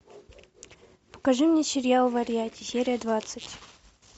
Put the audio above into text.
покажи мне сериал варьяти серия двадцать